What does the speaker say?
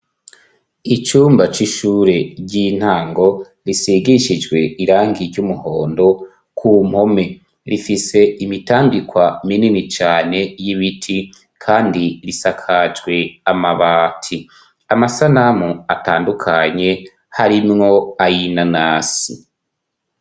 Icumba c'ishure ry'intango, risigishijwe irangi ry'umuhondo ku mpome ,rifise imitambikwa minini cane y'ibiti, kandi risakajwe amabati, amasanamu atandukanye harimwo ayinanasi.